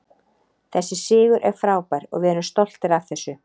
Þessi sigur er frábær og við erum stoltir af þessu.